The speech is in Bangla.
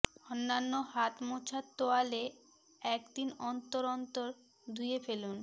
অন্যান্য হাত মোছার তোয়ালে একদিন অন্তর অন্তর ধুয়ে ফেলুন